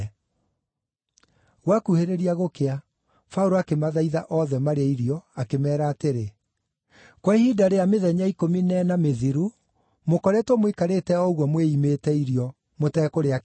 Gwakuhĩrĩria gũkĩa, Paũlũ akĩmathaitha othe marĩe irio, akĩmeera atĩrĩ, “Kwa ihinda rĩa mĩthenya ikũmi na ĩna mĩthiru, mũkoretwo mũikarĩte o ũguo mwĩimĩte irio, mũteekũrĩa kĩndũ.